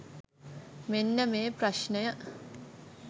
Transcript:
මෙන්න මේ ප්‍රශ්ණය.